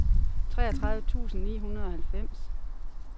treogtredive tusind ni hundrede og halvfems